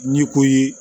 Ni ko ye